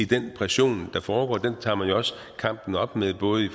den pression der foregår den tager man jo også kampen op mod både i